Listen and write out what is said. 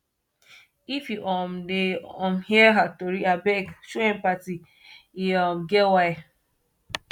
if you um dey um hear her tori abeg show empathy e um get why